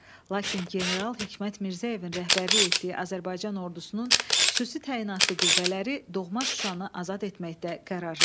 Lakin general Hikmət Mirzəyevin rəhbərlik etdiyi Azərbaycan ordusunun xüsusi təyinatlı qüvvələri doğma Şuşanı azad etməkdə qərarlı idi.